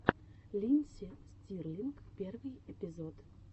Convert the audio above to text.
линдси стирлинг первый эпизод